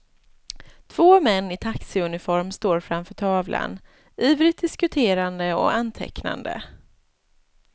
Två män i taxiuniform står framför tavlan, ivrigt diskuterande och antecknande.